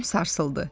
tamam sarsıldı.